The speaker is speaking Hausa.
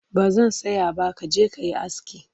Ba zan saya ba ka je ka yi aski